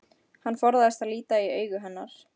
Hann forðast að líta í augu hennar.